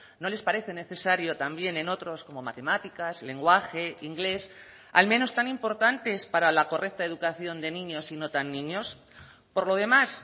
no les parece necesario también en otros como matemáticas lenguaje inglés al menos tan importantes para la correcta educación de niños y no tan niños por lo demás